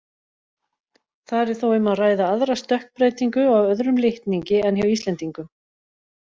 Þar er þó um að ræða aðra stökkbreytingu á öðrum litningi en hjá Íslendingum.